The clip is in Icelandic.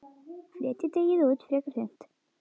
Fletjið deigið út, frekar þunnt.